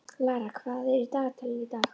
Lara, hvað er í dagatalinu í dag?